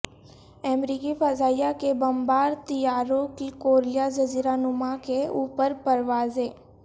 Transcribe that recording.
امریکی فضائیہ کے بمبار طیاروں کی کوریا جزیرہ نما کے اوپر پروازیں